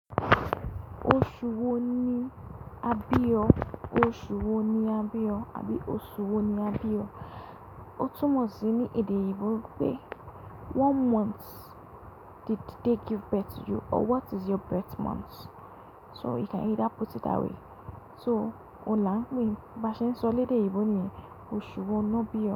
Oṣù wo ni a bí ọ? Oṣù wo ni a bí ọ? Àbí oṣù wo ni a bí ọ? Ó túmọ̀ sí ní èdè ìbò pé one month did they give birth to you or what is your birth month? So we can either put it that way So, ọ̀la ń pé bí a ṣe ń sọ lèdè oyinbo niyẹn, oṣù wo ni won bí ọ.